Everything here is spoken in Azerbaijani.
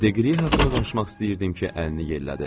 Deqri haqqında danışmaq istəyirdim ki, əlini yellədi.